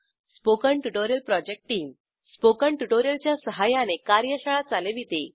spoken tutorial project team spoken tutorial च्या सहाय्याने कार्यशाळा चालविते